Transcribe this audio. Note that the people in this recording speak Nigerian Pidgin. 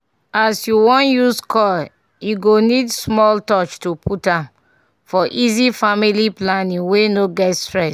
as u wan use coil e go need small touch to put am -for easy family planning wey no get stress